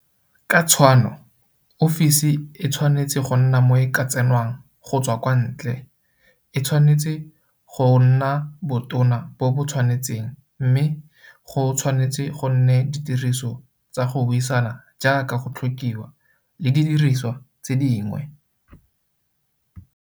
Ka tshwanno, ofisi e tshwanetse go nna mo e ka tsenwang go tswa kwa ntle, e tshwanetse go nna botona bo bo tshwanetseng mme go tshwanetse go nne ditiriso tsa go buisana jaaka go tlhokiwa le didirisiwa tse dingwe.